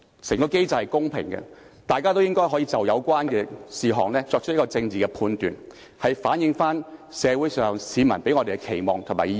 整個機制是公平的，大家也可以就有關事項作出政治判斷，反映市民對我們的期望和意見。